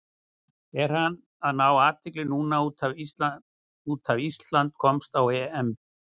Er hann að fá athygli núna út af Ísland komst á EM?